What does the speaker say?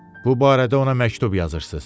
Bu barədə ona məktub yazırsız.